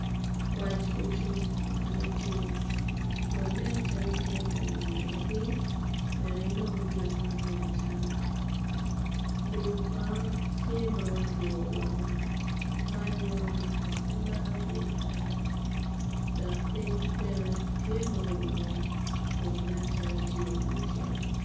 Kwac ocung idye tim kun nen calo tye ka ngino piny wek enong gin mo me acama lum kono tye ma otwo woko man nyuto ni kot pe maro cwe kany dok piny bene tye ma oume kun nen calo tye iwi otyeno.